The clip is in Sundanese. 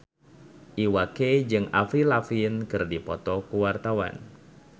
Iwa K jeung Avril Lavigne keur dipoto ku wartawan